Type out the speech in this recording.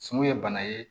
Sun ye bana ye